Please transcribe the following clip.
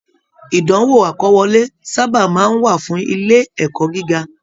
Ìdánwò akọwọ̀le sábà máa n wà fún ilé ẹ̀kọ́ gíga.